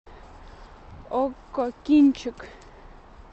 окко кинчик